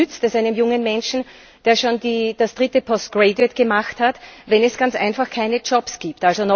denn was nützt es einem jungen Menschen, der schon den dritten Postgraduate Abschluss gemacht hat, wenn es ganz einfach keine Jobs gibt.